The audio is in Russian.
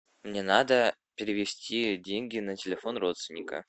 мне надо перевести деньги на телефон родственника